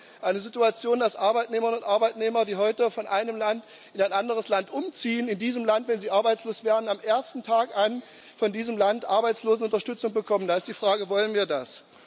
Wir haben eine Situation, dass Arbeitnehmerinnen und Arbeitnehmer, die heute von einem Land in anderes Land umziehen, in diesem Land, wenn sie arbeitslos werden, vom ersten Tag an von diesem Land Arbeitslosenunterstützung bekommen. Da ist die Frage Wollen wir das?